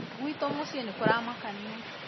gwitũ mũcĩĩ nĩ kũramakanĩa